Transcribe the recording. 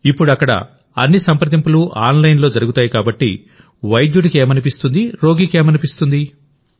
ఇప్పుడు అక్కడ అన్ని సంప్రదింపులు ఆన్ లైన్లో జరుగుతాయికాబట్టి వైద్యుడికి ఏమనిపిస్తుంది రోగికి ఏమనిపిస్తుంది